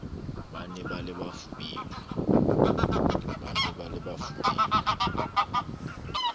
ba ne ba le bafubedi